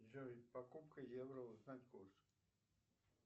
джой покупка евро узнать курс